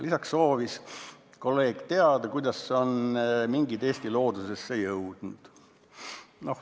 Lisaks soovis kolleeg teada, kuidas on mingid Eesti loodusesse jõudnud.